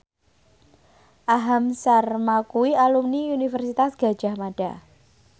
Aham Sharma kuwi alumni Universitas Gadjah Mada